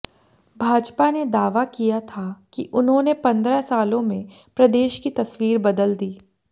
भाजपा ने दावा किया था कि उन्होंने पंद्रह सालों में प्रदेश की तस्वीर बदल दी